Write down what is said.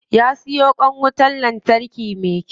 Ya siyo kwan wutan lantarki me kyau.